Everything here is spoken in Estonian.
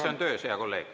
See on töös, hea kolleeg.